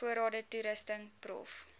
voorrade toerusting prof